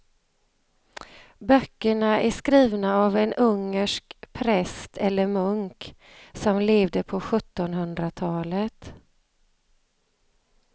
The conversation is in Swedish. Böckerna är skrivna av en ungersk präst eller munk som levde på sjuttonhundratalet.